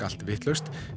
allt vitlaust